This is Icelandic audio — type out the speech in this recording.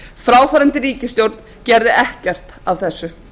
að nýju fráfarandi ríkisstjórn gerði ekkert af þessu